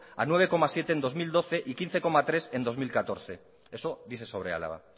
a nueve coma siete en dos mil doce y quince coma tres en bi mila hamalau eso dice sobre álava